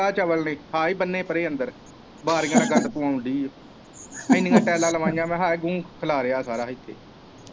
ਆ ਚਵਲ ਨੇ ਆਹ ਹੀ ਬੰਨੇ ਪਰੇ ਅੰਦਰ ਬਾਰੀਆ ਦਾ ਗੰਦ ਪੁਆਉਣ ਦੀ ਓ ਇੰਨੀਆ ਟੈਲਾਂ ਲਵਾਈਆ ਆ ਆਹ ਗੂੰ ਖਿਲਾਰਿਆ ਸਾਰਾ ਇੱਥੇ।